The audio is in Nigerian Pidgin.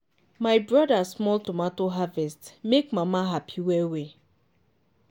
my brother small tomato harvest make mama happy well-well.